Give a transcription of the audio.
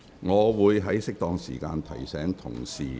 我會在適當時間提醒議員。